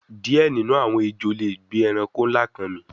Diẹ ninu awọn ejo le gbe ẹranko nla kan mì)